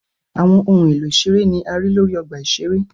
Awọn ohun elo iṣere ni a rii lori ọgba iṣere.